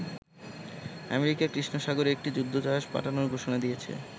America কৃষ্ণ সাগরে একটি যুদ্ধ জাহাজ পাঠানোর ঘোষণা দিয়েছে।